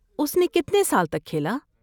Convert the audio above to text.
اس نے کتنے سال تک کھیلا؟